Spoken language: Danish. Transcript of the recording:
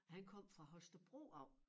Han kom fra Holstebro af